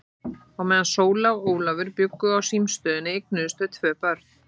Á meðan Sóla og Ólafur bjuggu á símstöðinni eignuðust þau tvö börn.